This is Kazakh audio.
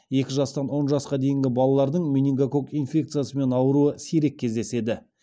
екі жастан он жасқа дейінгі балалардың менингококк инфекциясымен ауыруы сирек кездеседі